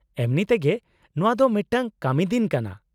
-ᱮᱢᱱᱤᱛᱮᱜᱮ ᱱᱚᱶᱟ ᱫᱚ ᱢᱤᱫᱴᱟᱝ ᱠᱟᱹᱢᱤ ᱫᱤᱱ ᱠᱟᱱᱟ ᱾